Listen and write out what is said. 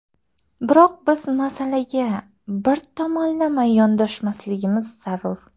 Biroq biz masalaga bir tomonlama yondoshmasligimiz zarur.